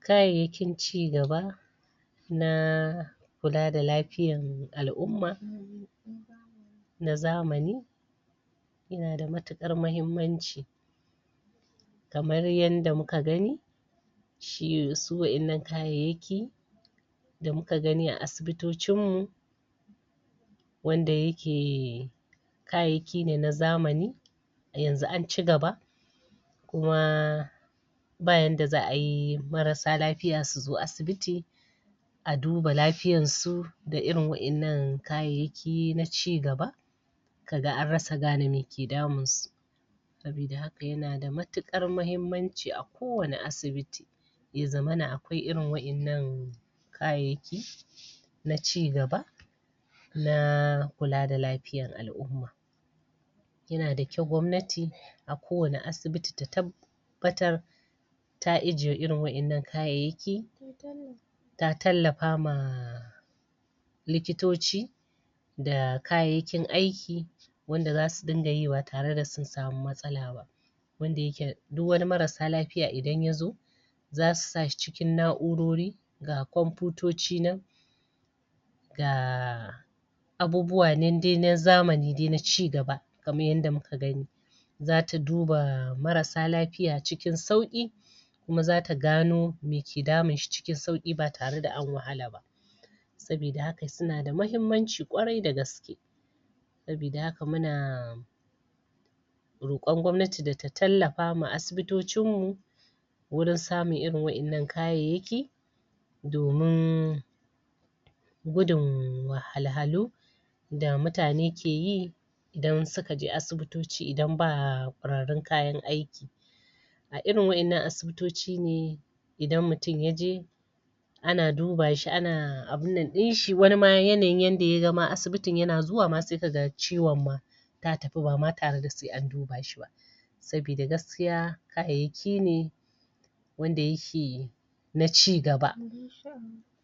kayai yakin ci gaba na kula da lafiyan al'umma nazamani yanada matuƙar mahimmanci kamar yanda muka gani su waɗannan kayaiyaki da muka gani a asibito cinmu wanda yake kayaiyaki ne na zamani yanzu anci gaba kuma ba yanda za ayi marasa lafiya suzo asibiti aduba lafiyan su da irin wayannan kayaiyaki naci gaba kaga an rasa gane me ke damunsu saboda haka yana da matuƙar mahimman ci ako wani asibiti yazamana akwai irin wayannan kayaiyaki naci gaba na kula da lafiya al'umma yanadakyau gobnati akowane asibiti ta tab batar ta ijjiye irin wayannan kayaiyaki ta tallafama likitoci da kayaiyakin aiki wanda zasu dungayi ba tare da sun sami matsala ba wanda yake duk wani marasa lafiya idan yazo zasu sashi ciki na urorori ga komputoci nan da abubuwa nan dai na zamani dai na ci gaba kamar yadda muka gani zata duba marasa lafiya cikin sauki kuma zata gano me ke damun shi cikin sauki ba tare da an wahalaba sabi da haka sunada mahimmanci ƙwarai da gaske sabi da haka muna roƙon gobnati da ta tallafa ma abisito cinmu wurun samun irin wayannan kayaiyaki domun gudun wahal halu da mutane keyi idan sukaje asibitoci idan ba ƙwarorin kayan aiki a irin wayannan asibito cine idan mutun yaje ana dubashi ana abunnan ɗinshi wanima yanayi yanda yagama asi bitin yana zuwama se kaga ciwon ma tatafi bama tare da se an dubashi ba sabida gaskiya kayaiyakine wanda yake naci gaba